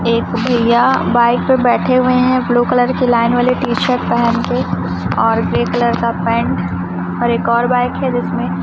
एक भैया बाइक पे बैठे हुए हैं ब्लू कलर की लाइन वाली टी शर्ट पहन के और ग्रे कलर का पेंट और एक और बाइक है जिसमें --